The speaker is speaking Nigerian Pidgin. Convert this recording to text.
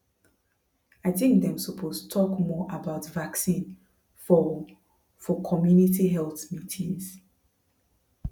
i think dem suppose talk more about vaccine for for community health meetings